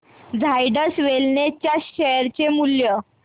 Zydus wellness च्या share चे मूल्य